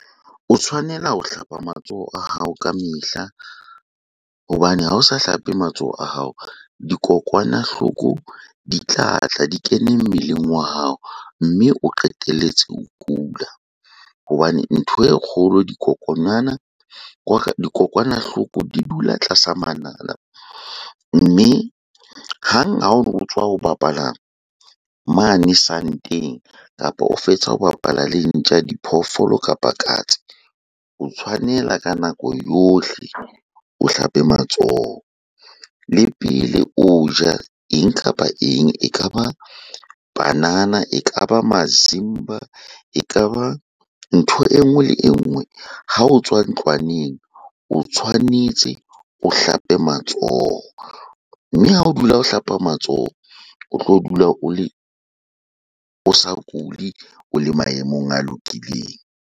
O tshwanela ho hlapa matsoho a hao ka mehla hobane ha o sa hlape matsoho a hao, dikokwanahloko di tlatla di kene mmeleng wa hao mme o qetelletse o kula. Hobane ntho e kgolo dikokonyana, dikokwanahloko di dula tlasa manala mme hang ha o tswa ho bapala mane santeng kapa o fetsa ho bapala le ntja, diphoofolo kapa katse. O tshwanela ka nako yohle o hlape matsoho le pele o ja eng kapa eng. E ka ba panana, e ka ba mazimba, e ka ba ntho e nngwe le e nngwe ha o tswa ntlwaneng, o tshwanetse o hlape matsoho. Mme ha o dula o hlapa matsoho, o tlo dula o le, o sa kule, o le maemong a lokileng.